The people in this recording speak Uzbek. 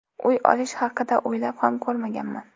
Uy olish haqida o‘ylab ham ko‘rmaganman.